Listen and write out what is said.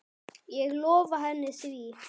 Ég lofaði henni því.